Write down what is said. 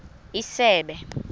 isebe